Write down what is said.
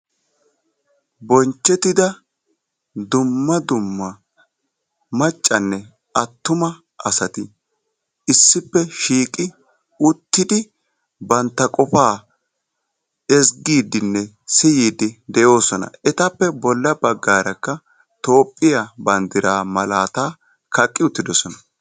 Bonchchettida dumma dumma maccanne attuma asati issippe shiiqi uttidi bantta qofaa ezggiiddinne siyiiddi de'oosona. Etappe bolla baggaarakka toophphiya banddiraa malaataa kaqqi uttidosona.